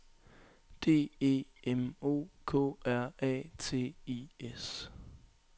D E M O K R A T I S